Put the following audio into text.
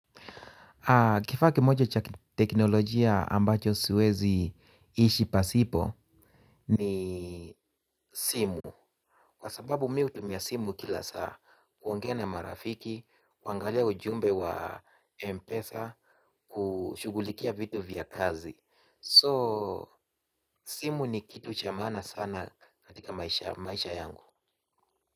Kifaa kimoja cha teknolojia ambacho siwezi ishi pasipo ni simu. Kwa sababu mi hutumia simu kila saa, kuongea na marafiki, kuangalia ujumbe wa mpesa, kushughulikia vitu vya kazi. So, simu ni kitu chamana sana katika maisha yangu.